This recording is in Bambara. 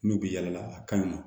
N'u bɛ yala a ka ɲi wa